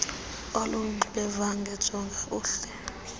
oluyingxubevange jonga umhl